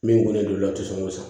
Min kolen don olu la o tɛ sɔn k'o san